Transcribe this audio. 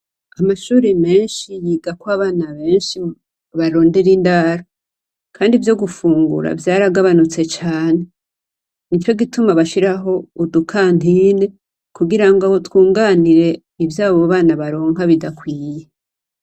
Amashure menshi yigako abana benshi barondera indaro kandi vyo gufungura vyaragabanutse cane. Nico gituma bashiraho udu kantine kugira ngo aho twunganire ivyo abo bana baronka bidakwiye.